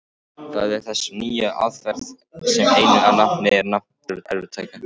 Það eru þessar nýju aðferðir sem einu nafni eru nefndar erfðatækni.